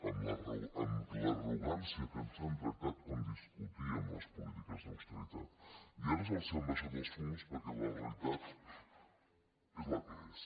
amb l’arrogància que ens han tractat quan discutíem les polítiques d’austeritat i ara els han abaixat els fums perquè la realitat és la que és